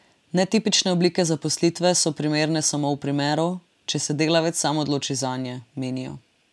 Netipične oblike zaposlitve so primerne samo v primeru, če se delavec sam odloči zanje, menijo.